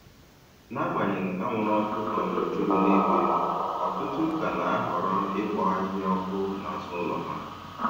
N'agbanyeghị anwụrụ ọkụ um juru n'igwe, ọtụtụ ka na-ahọrọ ikpo ahịhịa ọkụ n'azụ ụlọ ha.